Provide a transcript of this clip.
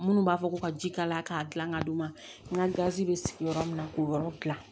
Minnu b'a fɔ ko ka ji kalaya k'a dilan ka d'u ma n ka gazi bɛ sigi yɔrɔ min na k'o yɔrɔ gilan